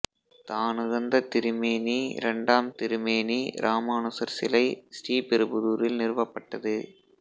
தானுகந்த திருமேனி இரண்டம் திருமேனி இராமானுசர் சிலை ஸ்ரீபெருபுதூரில் நிறுவப்பட்டது